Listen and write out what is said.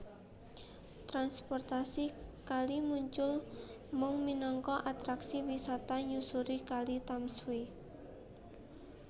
Transportasi kali muncul mung minangka atraksi wisata nyusuri Kali Tamsui